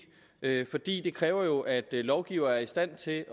fordi det jo kræver at lovgiver er i stand til